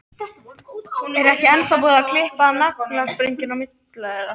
Er ekki ennþá búið að klippa á naflastrenginn milli þeirra?